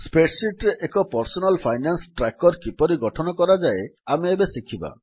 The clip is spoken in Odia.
Spreadsheetରେ ଏକ ପର୍ସନାଲ ଫାଇନାନ୍ସ ଟ୍ରାକର କିପରି ଗଠନ କରାଯାଏ ଆମେ ଏବେ ଶିଖିବା